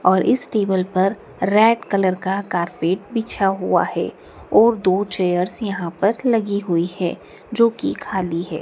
और इस टेबल पर रेड कलर का कारपेट बिछा हुआ है और दो चेयर्स यहाँ पर लगी हुई है जो की खाली है।